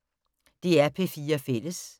DR P4 Fælles